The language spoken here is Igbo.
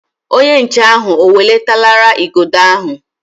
Onye nche ahụ o welatara Igodo ahụ?